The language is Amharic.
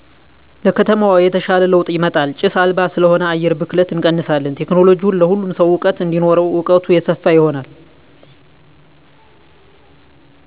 ለከተማዋ የተሻለ ለዉጥ ይመጣል ጭስ አልባ ስለሆነ አየር ብክለትን እንቀንሳለን ቴክኖለሎጅዉን ለሁሉም ሰዉ እዉቀት እንዲኖረዉ እዉቀቱ የሰፋ ይሆናል